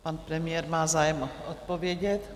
Pan premiér má zájem odpovědět.